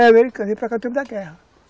Era americano, ele veio para cá no tempo da guerra.